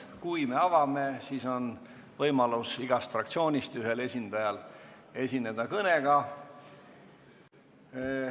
Kui me avame, siis on iga fraktsiooni ühel esindajal võimalik esineda kõnega.